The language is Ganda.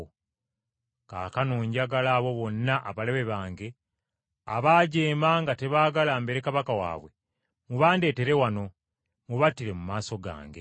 Kaakano njagala abo bonna abalabe bange, abaajeema nga tebaagala mbeere kabaka waabwe, mubandeetere wano, mubattire mu maaso gange.’ ”